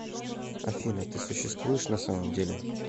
афина ты существуешь на самом деле